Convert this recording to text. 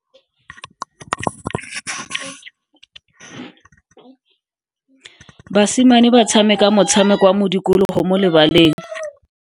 Basimane ba tshameka motshameko wa modikologo mo lebaleng.